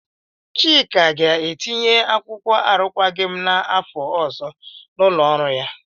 Chika ga-etinye akwụkwọ arụkwaghị m n'afọ ọzọ n'ụlọ ọrụ ya.